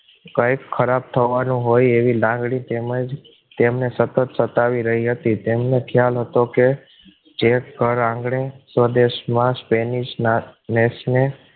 કાંઈક ખરાબ થવાનું હોય એવી લાગણી તેમજ તેમને સતત સતાવી રહી હતી તેમને ખ્યાલ હતો કે જે ઘર આંગણે સ્વદેશમાં સ્પેનિશ ના દેશને